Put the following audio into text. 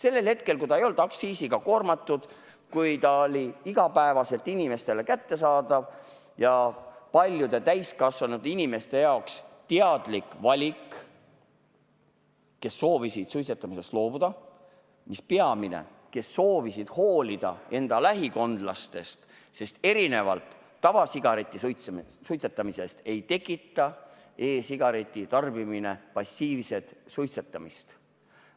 Varem see ei olnud aktsiisiga koormatud, see oli igapäevaselt inimestele kättesaadav ja paljude täiskasvanud inimeste teadlik valik, kes soovisid suitsetamisest loobuda – see oli peamine –, nad soovisid hoolida enda lähikondlastest, sest erinevalt tavasigareti suitsetamisest ei tekita e-sigareti tarbimine passiivset suitsetamist.